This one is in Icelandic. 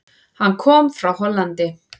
Hann kom frá Hollandi.